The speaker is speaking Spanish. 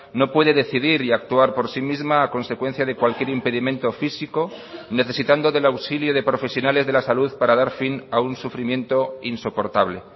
no puede decidir y actuar por sí misma a consecuencia de cualquier impedimento físico necesitando del auxilio de profesionales de la salud para dar fin a un sufrimiento insoportable